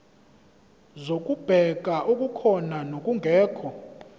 zokubheka okukhona nokungekho